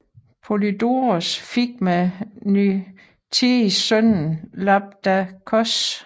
Polydoros fik med Nykteis sønnen Labdakos